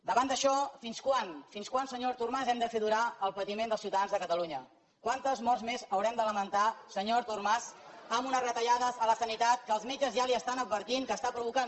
davant d’això fins quan fins quan senyor artur mar hem de fer durar el patiment dels ciutadans de catalunya quantes morts més haurem de lamentar senyor artur mas des a la sanitat que els metges ja li estan advertint que estan provocant